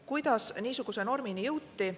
Kuidas niisuguse normini jõuti?